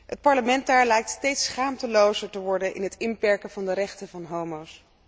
Het parlement daar lijkt steeds schaamtelozer te worden in het inperken van de rechten van homo's.